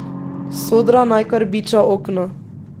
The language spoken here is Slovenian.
Sodra naj kar biča okno.